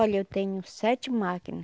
Olha, eu tenho sete máquina.